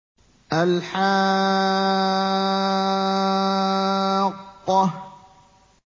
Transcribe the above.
الْحَاقَّةُ